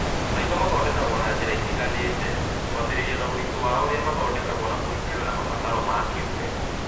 Maitho mathondekagwo na njĩra itiganĩte, kwambĩrĩria na ũritũ waũrĩa mathondekagwo na kũringana na mabataro ma kĩũmbe.